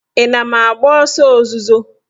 Ị na m agba ọsọ ozuzo?